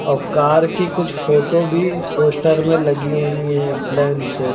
औ कार की कुछ फोटो भी पोस्टर में लगी हुई है लैन से।